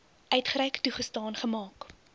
uitgereik toegestaan gemaak